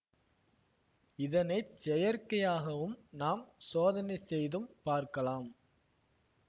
இதனை செயற்கையாகவும் நாம் சோதனை செய்தும் பார்க்கலாம்